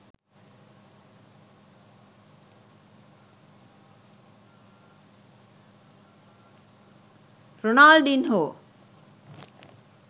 ronaldinho